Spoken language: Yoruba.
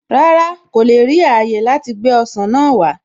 Rárá, kò le ri ààyè láti gbé ọsàn náà wá